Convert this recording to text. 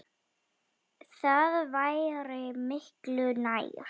Það væri miklu nær.